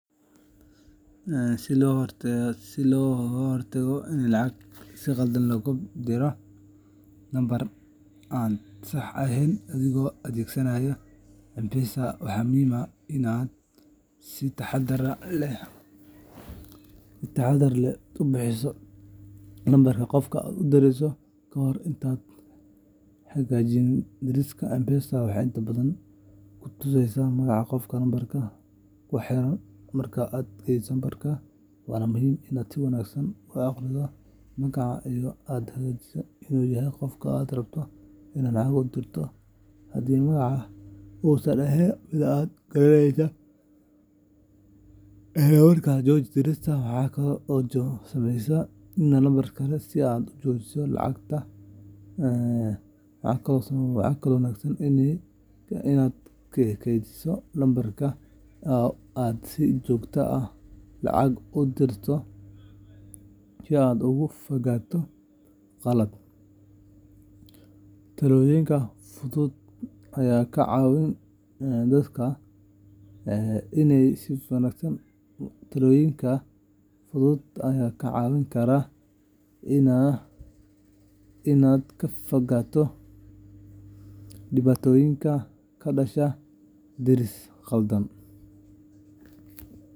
Si looga hortago in lacag si khaldan loogu diro nambar aan sax ahayn adigoo adeegsanaya M-Pesa, waxaa muhiim ah in aad si taxaddar leh u hubiso lambarka qofka aad u dirayso ka hor intaadan xaqiijin dirista. M-Pesa waxay inta badan ku tusaysaa magaca qofka lambarkaasi ku xiran marka aad geliso lambarka waa muhiim inaad si wanaagsan u akhrido magacaas oo aad xaqiijiso inuu yahay qofka aad rabto inaad lacag u dirto. Haddii magacaasi uusan ahayn mid aad garanayso, isla markiiba jooji dirista. Waxaa kale oo wanaagsan inaad kaydiso lambarrada aad si joogto ah lacag ugu dirto si aad uga fogaato qaladaad. Tallaabooyinkan fudud ayaa kaa caawin kara inaad ka fogaato dhibaatooyinka ka dhasha diris khaldan.